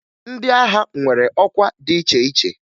Ndị agha nwere ọkwa dị iche iche